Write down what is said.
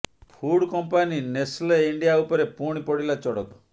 food company Nestle India ଉପରେ ପୁଣି ପଡିଲା ଚଡକ